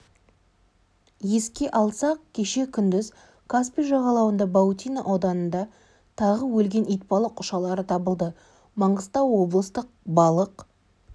еске салсақ кеше күндіз каспий жағалауында баутино ауданында тағы өлген итбалық ұшалары табылды маңғыстау облыстық балық